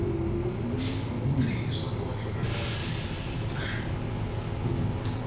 kutsini sonkondlo nakatsi